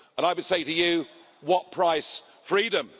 I would say to you what price freedom?